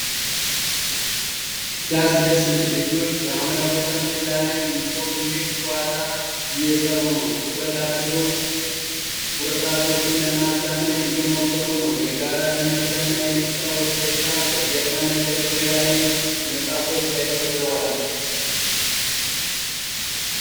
ሲያስደስት! ልጆች በሐምራዊ ጠረጴዛ ላይ የእንቆቅልሽ ጨዋታ እየሰሩ ነው። ትኩረት አድርገው ቁርጥራጮቹን ለማዛመድ እየሞከሩ ነው። የጋራ ትምህርትና የመጫወት ደስታ! ከጀርባ መደርደሪያ ላይ መፅሃፎች ተደርድረዋል።